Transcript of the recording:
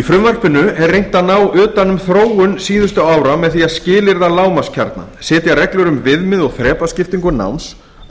í frumvarpinu er reynt að ná utan um þróun síðustu ára með því að skilyrða lágmarkskjarna setja reglur um viðmið og þrepaskiptingu náms